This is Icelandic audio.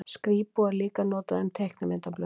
Skrípó er líka notað um teiknimyndablöð.